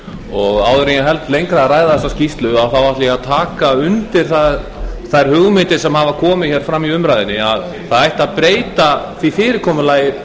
áður en ég held lengra að ræða þessa skýrslu þá ætla ég að taka undir þær hugmyndir sem hafa komið fram í umræðunni að það ætti að breyta því fyrirkomulagi